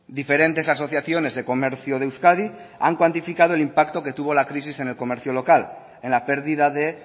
diferentes asociaciones de comercio de euskadi han cuantificado el impacto que tuvo la crisis en el comercio local en la pérdida de